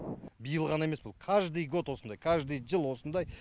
биыл ғана емес бұл каждый год осындай каждый жыл осындай